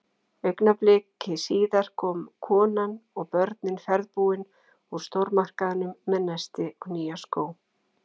Augnabliki síðar komu konan og börnin ferðbúin úr stórmarkaðnum með nesti og nýja skó.